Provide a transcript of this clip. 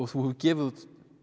hefur gefið út